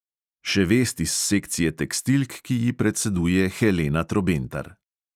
Še vest iz sekcije tekstilk, ki ji predseduje helena trobentar.